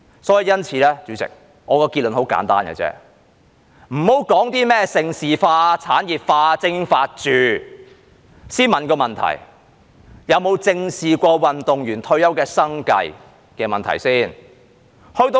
主席，我的結論很簡單，先不要說甚麼盛事化、產業化、精英化，先問一個問題：有否正視過運動員退休的生計問題？